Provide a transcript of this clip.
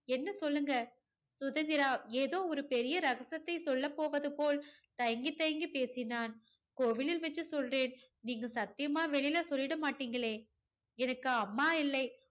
என்ன சொல்லுங்க? சுதந்திரா ஏதோ ஒரு பெரிய ரகசியத்தை சொல்லப் போவது போல் தயங்கி தயங்கி பேசினான். கோவிலில் வச்சு சொல்றேன். நீங்க சத்தியமா வெளியில சொல்லிட மாட்டீங்களே எனக்கு அம்மா இல்லை.